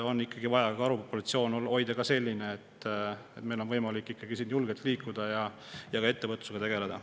On ikka vaja hoida karupopulatsioon selline, et meil on võimalik siin julgelt liikuda ja ka ettevõtlusega tegeleda.